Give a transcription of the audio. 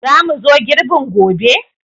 Za mu zo girbin gobe?